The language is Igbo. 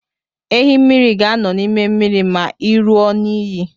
Ehi mmiri ga-anọ n'ime mmiri ma i ruo n'iyi.